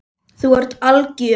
Þú ert algjör!